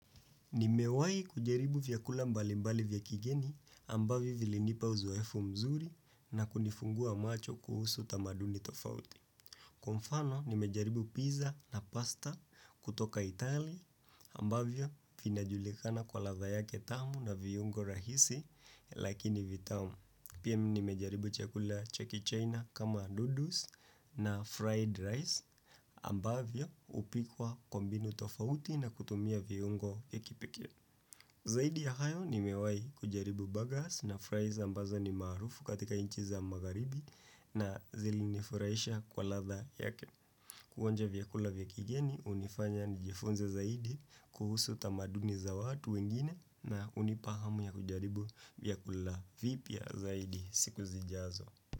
Nimewai kujaribu vyakula mbali mbali vyakigeni ambavyo vilinipa uzoefu mzuri na kunifungua macho kuhusu tamaduni tofauti. Kwa mfano, nimejaribu pizza na pasta kutoka Itali ambavyo finajulikana kwa ladha yake tamu na viungo rahisi lakini vitao. Pia nimejaribu chakula cha ki china kama noodles na fried rice ambavyo hupikwa kwa mbinu tofauti na kutumia vungo vyakipekee. Zaidi ya hayo ni mewai kujaribu burgers na fries ambazo ni marufu katika inchi za magaribi na zili nifuraisha kwa ladha yake. Kuonja vyakula vyakigeni hunifanya nijifunze zaidi kuhusu tamaduni za watu wengine na hunipa hamu ya kujaribu vyakula vipya zaidi siku zijazo.